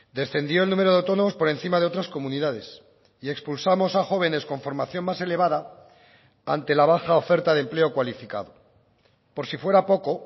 descendió el número de autónomos por encima de otras comunidades y expulsamos a jóvenes con formación más elevada ante la baja oferta de empleo cualificado por si fuera poco